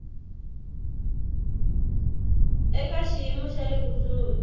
eka xiyimo xa le kusuhi